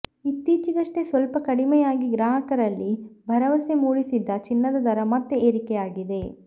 ಇತ್ತೀಚೆಗಷ್ಟೇ ಸ್ವಲ್ಪ ಕಡಿಮೆಯಾಗಿ ಗ್ರಾಹಕರಲ್ಲಿ ಭರವಸೆ ಮೂಡಿಸಿದ್ದ ಚಿನ್ನದ ದರ ಮತ್ತೆ ಏರಿಕೆಯಾಗಿದೆ